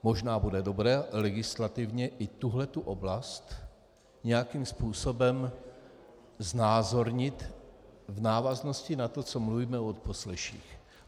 Možná bude dobré legislativně i tuhle tu oblast nějakým způsobem znázornit v návaznosti na to, co mluvíme o odposleších.